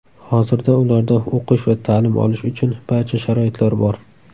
Hozirda ularda o‘qish va ta’lim uchun barcha sharoitlar bor.